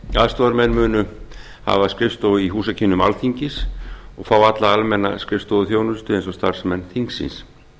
aðstoðarmenn munu hafa skrifstofu í húsakynnum alþingis og fá alla almenna skrifstofuþjónustu eins og starfsmenn þingsins